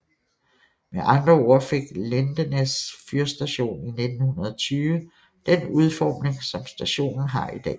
Med andre ord fik Lindesnes fyrstation i 1920 den udforming som stationen har i dag